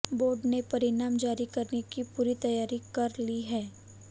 board ने परिणाम जारी करने की पूरी तैयारी कर ली है